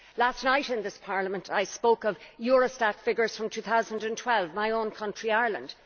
Last night in this Parliament I spoke of Eurostat figures from 2012 and my own country, Ireland.